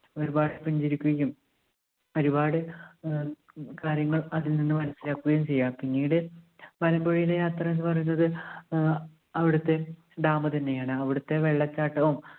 ഒരുപാട് പുഞ്ചിരിക്കുകയും ഒരുപാട് ആഹ് ക~കാര്യങ്ങൾ അതിൽ നിന്ന് മനസ്സിലാക്കുകയും ചെയ്യാം. പിന്നീട് മലമ്പുഴയിലെ യാത്ര എന്ന് പറയുന്നത് ആഹ് അവിടുത്തെ dam തന്നെയാണ്. അവിടുത്തെ വെള്ളച്ചാട്ടവും